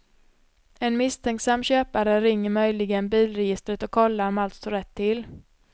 En misstänksam köpare ringer möjligen bilregistret och kollar om allt står rätt till.